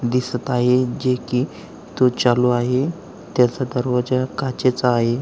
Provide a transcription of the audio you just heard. दिसत आहे जे की तो चालू आहे त्याचा दरवाजा काचेचा आहे.